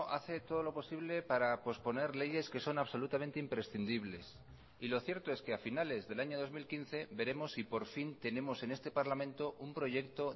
hace todo lo posible para posponer leyes que son absolutamente imprescindibles y lo cierto es que a finales del año dos mil quince veremos si por fin tenemos en este parlamento un proyecto